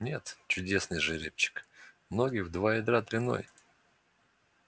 нет чудесный жеребчик ноги в два ядра длиной